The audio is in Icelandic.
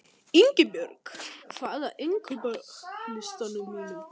Ingibjörn, hvað er á innkaupalistanum mínum?